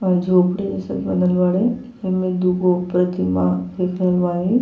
और झोपड़ी जइसन बनल बाड़े। एमे दूगो प्रतिमा देख रहल बाड़े।